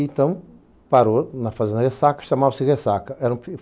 Então, parou na fazenda Ressaca, chamava-se Ressaca. Era um